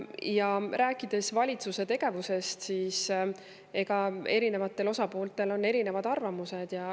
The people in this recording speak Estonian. Ja rääkides valitsuse tegevusest, siis eri osapooltel on erinevad arvamused.